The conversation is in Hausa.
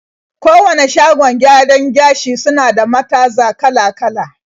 Kowane shagon gyaran gashi suna da mataza kala-kala.